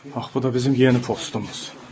Bax bu da bizim yeni postumuz.